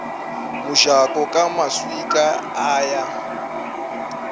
mojako ka maswika a ya